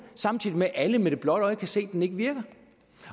samtidig med at alle med det blotte øje kan se at den ikke virker